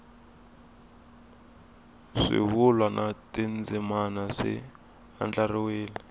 swivulwa na tindzimana swi andlariwile